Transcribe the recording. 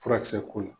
Furakisɛ ko la